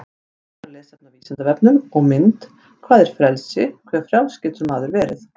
Frekara lesefni á Vísindavefnum og mynd Hvað er frelsi, hve frjáls getur maður verið?